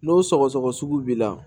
N'o sɔgɔsɔgɔ sugu b'i la